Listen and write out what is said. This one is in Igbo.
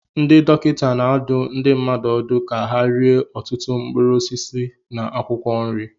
Ndị dọkịta na-adụ ndị mmadụ ọdụ ka ha rie ọtụtụ mkpụrụ osisi na akwụkwọ nri